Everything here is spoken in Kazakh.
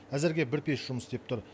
әзірге бір пеш жұмыс істеп тұр